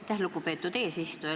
Aitäh, lugupeetud eesistuja!